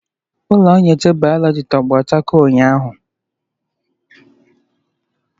Ụlọ nyocha bayoloji tọgbọ chakoo ụnyahụ.